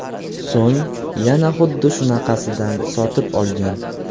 So‘ng yana xuddi shunaqasidan sotib olgan.